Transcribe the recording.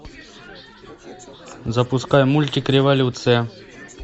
запускай мультик революция